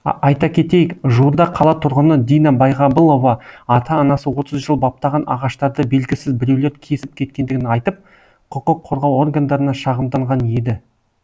айта кетейік жуырда қала тұрғыны дина байғабылова ата анасы отыз жыл баптаған ағаштарды белгісіз біреулер кесіп кеткендігін айтып құқық қорғау органдарына шағымданған еді